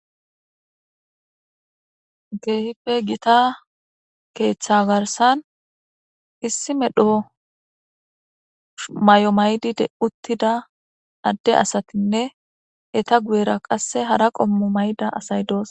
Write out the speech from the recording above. Keehippe giitta keththa garssan issi medho mayo mayida adde asatinne eetta guyra qase hara qoommo mayida asay dees